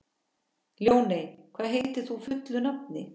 Ljóney, hvað heitir þú fullu nafni?